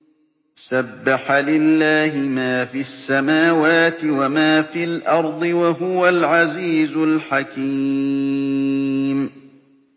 سَبَّحَ لِلَّهِ مَا فِي السَّمَاوَاتِ وَمَا فِي الْأَرْضِ ۖ وَهُوَ الْعَزِيزُ الْحَكِيمُ